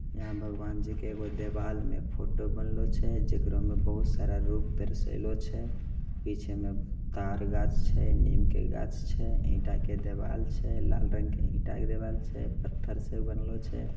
इहाँ भगवान जी के दीवार में फोटो बनलो छे जेकरो में बहुत सारा रूप दार्शेलो छे पीछे में ताड़ गाज छे नीम के गाज छे ईटा की दीवाल छे लाल रंग की ईटा की दीवाल छे पत्थर से बनलो छे।